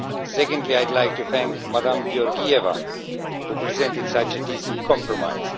Secondly, I would like to thank Madam Georgieva, who presented such a decent compromise.